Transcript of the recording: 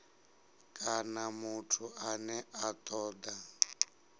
kana muthu ane a toda